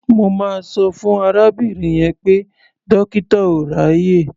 Mo máa sọ fún arábìnrin yẹn pé dọ́kítà ò ráàyè.